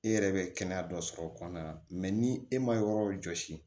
E yɛrɛ bɛ kɛnɛya dɔ sɔrɔ o kɔnɔna na ni e ma yɔrɔ jɔsi